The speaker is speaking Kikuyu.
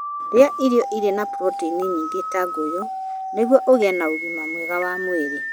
Iria irio irĩ na puroteini nyingĩ ta ngũyũ nĩguo ũgĩe na ũgima mwega wa mwĩrĩ.